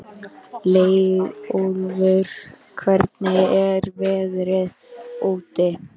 Leiðólfur, hvernig er veðrið úti?